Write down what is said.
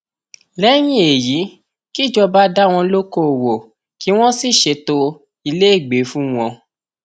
lẹyìn èyí kìjọba dá wọn lókoòwò kí wọn sì ṣètò ilégbèé fún wọn